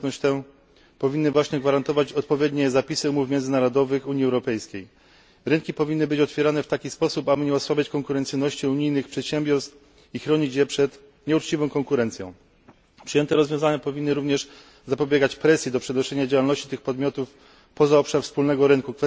Dostępność tę powinny właśnie gwarantować odpowiednie zapisy umów międzynarodowych Unii Europejskiej. Rynki powinny być otwierane w taki sposób, aby nie osłabiać konkurencyjności unijnych przedsiębiorstw i chronić je przed nieuczciwą konkurencją. Przyjęte rozwiązania powinny również zapobiegać presji do przenoszenia działalności tych podmiotów poza obszar wspólnego rynku.